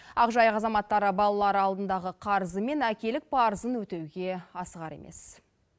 ақжайық азаматтары балалары алдындағы қарызы мен әкелік парызын өтеуге асығар емес